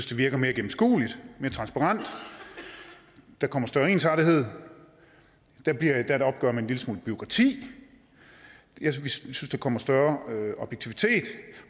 det virker mere gennemskueligt mere transparent der kommer større ensartethed der bliver endda et opgør med en lille smule bureaukrati vi synes at der kommer større objektivitet